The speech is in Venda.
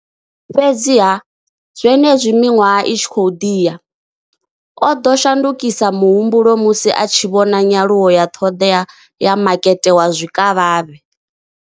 Fhedziha, zwenezwi miṅwaha i tshi khou ḓi ya, o ḓo shandukisa muhumbulo musi a tshi vhona nyaluwo ya ṱhoḓea ya makete wa zwikavhavhe.